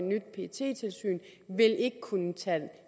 ikke vil kunne tage